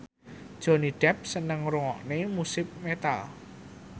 Johnny Depp seneng ngrungokne musik metal